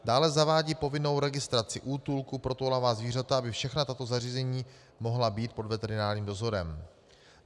Dále zavádí povinnou registraci útulků pro toulavá zvířata, aby všechna tato zařízení mohla být pod veterinárním dozorem.